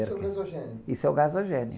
Isso é o gasogênio?sso é o gasogênio.